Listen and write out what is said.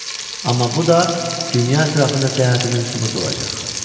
Amma bu da dünya ətrafında səyahətimin sübutu olacaq.